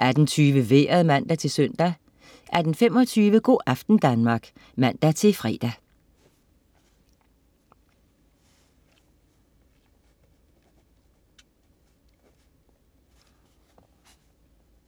18.20 Vejret (man-søn) 18.25 Go' aften Danmark (man-fre)